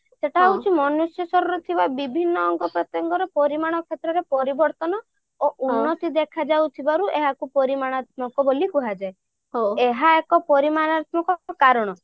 ସେଇଟା ହଉଛି ମନୁଷ୍ୟ ଶରୀରରେ ଥିବା ବିଭିନ୍ନ ଅଙ୍ଗ ପ୍ରତ୍ୟଙ୍ଗ ର ପରିମାଣ କ୍ଷେତ୍ରରେ ପରିବର୍ତ୍ତନ ଓ ଦେଖା ଯାଉଥିବାରୁ ଏହାକୁ ପରିମାଣାତ୍ମକ ବୋଲି କୁହାଯାଏ ଏହା ଏକ ପରିମାଣାତ୍ମକ କାରଣ